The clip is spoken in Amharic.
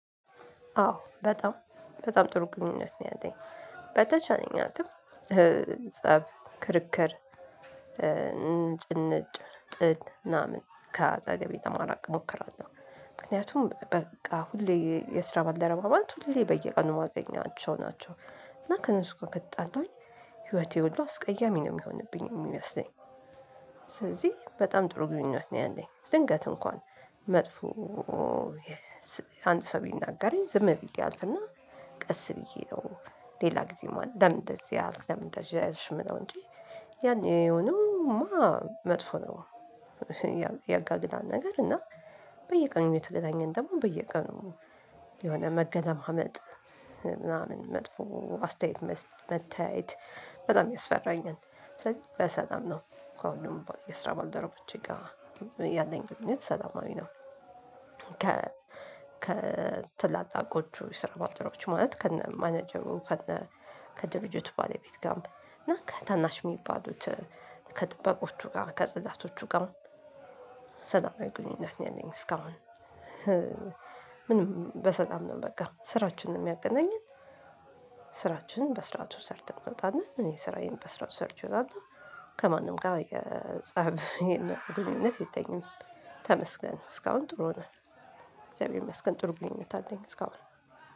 አዎ በጣም በጣም ጥሩ ግንኙነት ነው ያለኝ። በተቻለኝ አቅም ፀብ ክርክር ንጭንጭ ጥል ምናምን ከአጠገቤ ለማራቅ እሞክራለሁ። ምክንያቱም በቃ ሁሌ የስራ ባልደረባ ማለት ሁሌ በየቀኑ ማገኛቸው ናቸው፤ እና ከነሱ ጋ ከተጣላን ህይወቴ ሁሉ አስቀያሚ ነው የሚሆንብኝ የሚመስለኝ ስለዚህ በጣም ጥሩ ግንኙነት ነው ያለኝ። ድንገት እንኳን መጥፎ አንድ ሰው ቢናገረኝ ዝም ብዬ አልፍና ቀስ ብዬ ነው ሌላ ጊዜ ማን ለምን እንደዚህ አልክ ለምን እንደዚህ አልሽ የምለው እንጂ ያኔ የሆነማ መጥፎ ነው። ያጋግዳል ነገር እና በየቀኑ እየተገናኘን ደግሞ በየቀኑ የሆነ መገለማመጥ ምናምን መጥፎ አስተያየት መታየት በጣም ያስፈራኛል። ስለዚህ በሰላም ነው ከሁሉም የስራ ባልደረቦቼ ጋር ያለኝ ግንኙነት ሰላማዊ ነው። ከ ከ ትላላቆቹ የስራ ባልደረቦች ማለት ከነ ማናጀሩ ከነ ከድርጅቱ ባለቤት ጋር እና ከታናሽ የሚባሉት ከጥበቆቹ ጋር ከጽዳቶቹ ጋር ሰላማዊ ግንኙነት ነው ያለኝ እስካሁን ምንም በሰላም ነው በቃ ስራችን ነው የሚያገናኝን ስራችንን በስርዓቱ ሰርተን እንወጣለን። እኔ ስራዬን በስርዓቱ ሰርቼ ወጣለሁ ከማንም ጋር ፀብ ግንኙነት የለኝም ተመስገን ነው እስካሁን ጥሩ ነው እግዚአብሔር ይመስገን ጥሩ ግንኙነት አለኝ እስካሁን